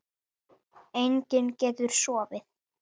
Enginn getur sofið.